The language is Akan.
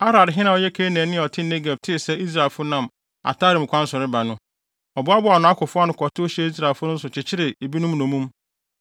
Arad hene a ɔyɛ Kanaanni a ɔte Negeb tee sɛ Israelfo nam Atarim kwan so reba no, ɔboaboaa nʼakofo ano kɔtow hyɛɛ Israelfo no so kyekyeree ebinom nnommum.